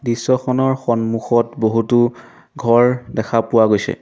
দৃশ্যখনৰ সন্মুখত বহুতো ঘৰ দেখা পোৱা গৈছে।